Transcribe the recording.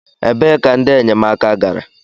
Ebee ka ndị enyemaka gara?